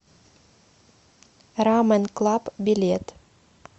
рамен клаб билет